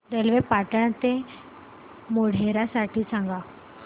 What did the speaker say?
railway Patan ते मोढेरा साठी सांगा